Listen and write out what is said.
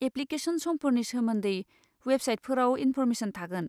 Application समफोरनि सोमोन्दै वेबसाइटफोराव इनफ'रमेसन थागोन।